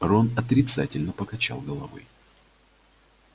рон отрицательно покачал головой